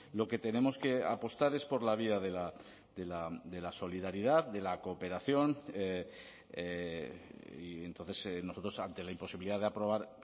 lo que tenemos que apostar es por la vía de la solidaridad de la cooperación y entonces nosotros ante la imposibilidad de aprobar